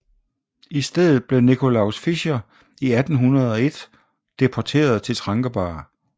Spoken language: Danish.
I stedet blev Nicolaus Fischer i 1801 deporteret til Trankebar